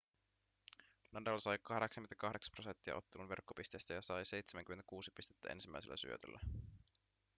nadal sai 88 % ottelun verkkopisteistä ja sai 76 pistettä ensimmäisellä syötöllä